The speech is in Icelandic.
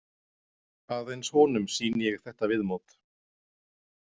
Aðeins honum sýni ég þetta viðmót.